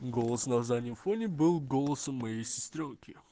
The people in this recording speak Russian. голос на заднем фоне был голосом моей сестрёнки